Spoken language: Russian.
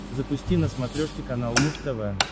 запусти на смотрешке канал муз тв